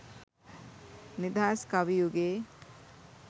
නිදහස් කවි යුගයේ